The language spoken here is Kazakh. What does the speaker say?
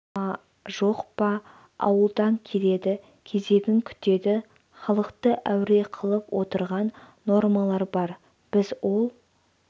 ма жоқ па ауылдан келеді кезегін күтеді халықты әуре қылып отырған нормалар бар біз ол